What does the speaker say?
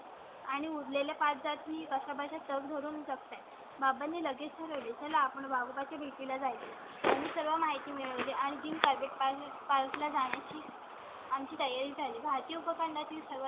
आणि उरलेले सत्तावन्न मी कशा बशा तग धरू शकते? बाबांनी लगेच मिळेल. आपण बाबा ची भीती ला जाईल. सर्व माहिती मिळते आणि तीन प्राइवेट पाहिजे पाचला जाणारी. आम ची ताई ला आली. भारतीय उपखंडातील सर्वात जुना.